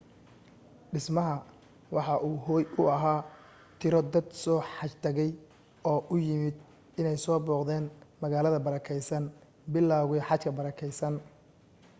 dhismaha waxa uu hooy u ahaa tiro dad soo xaj tagay oo u yimid in ay soo booqdan magaalada barakeysan bilawga xajka barakeysan